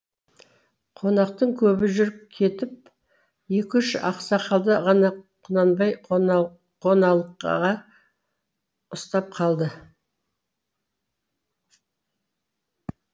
қонақтың көбі жүріп кетіп екі үш ақсақалды ғана құнанбай қоналқаға ұстап қалды